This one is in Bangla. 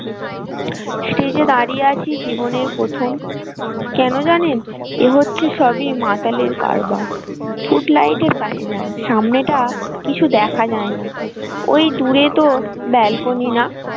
stage এ দাঁড়িয়ে আছি জীবনের প্রথম কেন জানেন এ হচ্ছে সবই মাতালের কারবার foot light এর পাশে যান সামনেটা কিছু দেখা যায় না ওই দূরে তো balcony না।